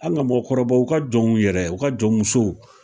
An' ŋa mɔgɔkɔrɔba u ka jɔnw yɛrɛ u ka jɔnmusow